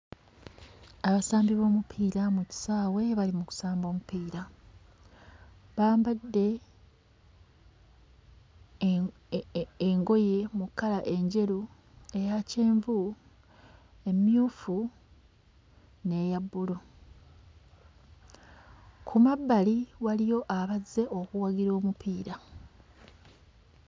Abasambi b'omupiira mu kisaawe bali mu kusamba omupiira. Bambadde eee engoye mu kkala enjeru, eya kyenvu, emmyufu n'eya bbulu. Ku mabbali waliyo abazze okuwagira omupiira.